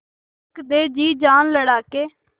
रख दे जी जान लड़ा के